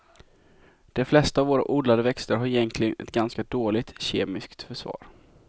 De flesta av våra odlade växter har egentligen ett ganska dåligt kemiskt försvar.